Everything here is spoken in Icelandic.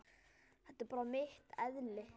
Þetta er bara mitt eðli.